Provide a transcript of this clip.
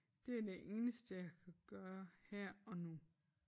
Det er det eneste jeg kan gøre her og nu